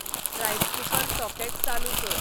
rice cooker socket चालूं कर